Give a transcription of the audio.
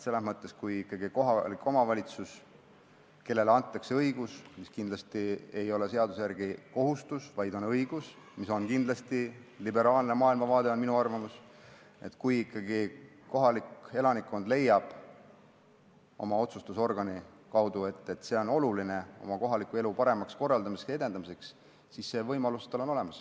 Kui ikkagi kohalikule omavalitsusele antakse see õigus – kindlasti ei ole see seaduse järgi kohustus, vaid on õigus, mis on omane liberaalsele maailmavaatele, see on minu arvamus – ja kui kohalik elanikkond leiab oma otsustusorgani kaudu, et see on oluline kohaliku elu paremaks korraldamiseks ja edendamiseks, siis see võimalus on olemas.